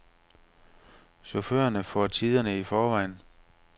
Chaufførerne får tiderne i forvejen.